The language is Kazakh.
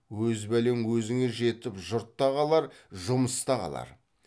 өз бәлең өзіңе жетіп жұрт та қалар жұмыс та қалар